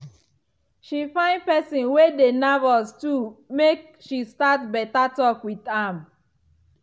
she find person wey dey nervous too make she start better talk with am.